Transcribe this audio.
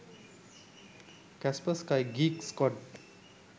kaspersky geek squad